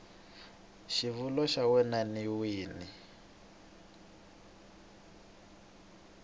xivulwa xa wena n wini